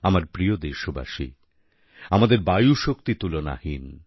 আমার প্রিয় দেশবাসী আমাদের বায়ুশক্তি তুলনাহীন